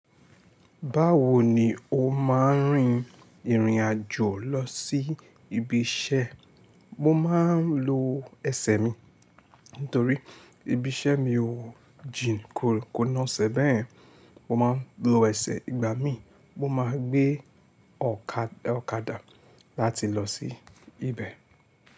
Báwo ni o máa ń rin ìrìn àjò lọ sí ibi iṣẹ́? Mo máa ń lo ẹsẹ̀ mi, nítorí ibi iṣẹ́ mi o jìn ko kò ná ṣe bẹ́yen Mo máa ń lo ẹsẹ̀ ìgbà mí, mo máa ń gbé ọ̀kadà láti lọ sí ibẹ̀.